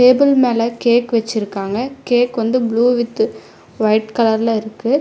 Table மேல cake வச்சிருக்காங்க cake வந்து ப்ளூ வித் ஒயிட் கலர்ல இருக்கு.